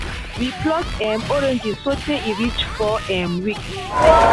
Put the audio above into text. we pluck um orange so tay e reach four um weeks